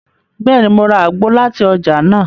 Bẹẹni, Mo rà àgbo láti ọjà nàá